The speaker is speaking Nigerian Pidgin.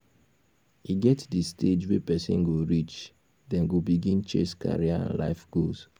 e get di stage wey person go reach dem go begin chase career and life goals